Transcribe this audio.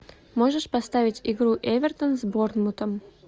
можешь поставить игру эвертон с борнмутом